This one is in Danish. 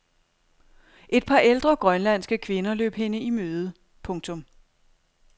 Et par ældre grønlandske kvinder løb hende i møde. punktum